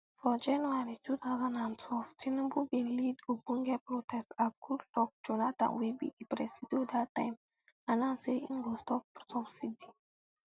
for january two thousand and twelve tinubu bin lead ogbonge protest as goodluck jonathan wey be di presido dat time announce say im go stop subsidy